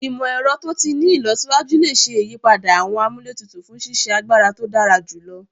Imọ-ẹrọ to ti ni ilọsiwaju le ṣe iyipada awọn amúlétutù fun ṣiṣe agbara to dara julọ